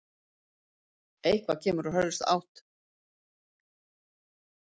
Eitthvað kemur úr hörðustu átt